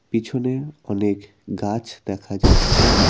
পিছনে অনেক গাছ দেখা যাচ্ছে।